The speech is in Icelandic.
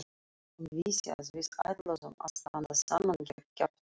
Hún vissi að við ætluðum að standa saman gegn kjaftinum.